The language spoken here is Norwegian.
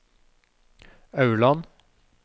Aurland